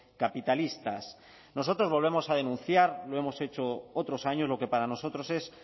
capitalistas nosotros volvemos a denunciar lo hemos hecho otros años lo que para nosotros es